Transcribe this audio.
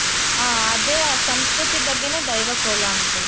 ಹ ಅದೇ ಆ ಸಂಸ್ಕೃತಿ ಬಗ್ಗೆನೇ ದೈವ ಕೋಲ ಅಂತಾರೆ